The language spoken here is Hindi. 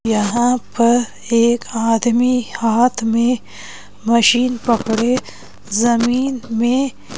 यहां पर एक आदमी हाथ में मशीन पकड़े जमीन में--